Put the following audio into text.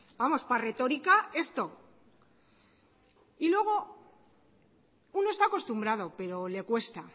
vamos para retórica esto y luego uno está acostumbrado pero le cuesta